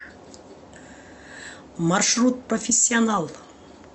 маршрут профессионал